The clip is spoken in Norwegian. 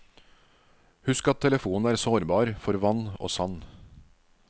Husk at telefonen er sårbar for vann og sand.